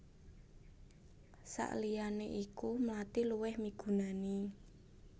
Saliyané iku mlathi luwih migunani